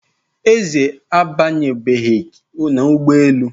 Eze abanyebeghị n'ụgbọelu